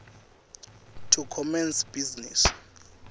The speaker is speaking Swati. to commence business